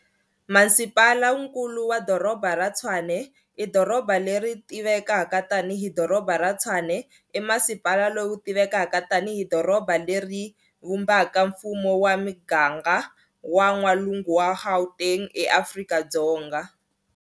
Masipalankulu wa Doroba ra Tshwane, i doroba leri tivekaka tani hi Doroba ra Tshwane i masipala lowu tivekaka tani hi doroba leri vumbaka mfumo wa miganga wa n'walungu wa Gauteng eAfrika-Dzonga.